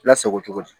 Lasago cogo di